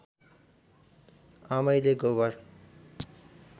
आमैले गोबर